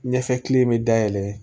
Ɲɛfɛ kile bɛ dayɛlɛ